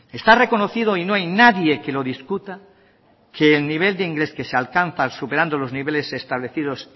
está reconocido y no hay nadie que lo discuta que el nivel de inglés que se alcanza superando los niveles establecidos